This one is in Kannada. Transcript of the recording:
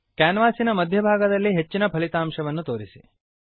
ಕ್ಯಾನ್ವಾಸಿನ ಮಧ್ಯಭಾಗದಲ್ಲಿ ಕೇಂದ್ರಭಾಗದಲ್ಲಿ ಹೆಚ್ಚಿನ ಫಲಿತಾಂಶವನ್ನು ತೋರಿಸಿ